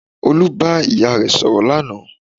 Olú bá ìyá rẹ̀ sọ̀rọ̀ lánàá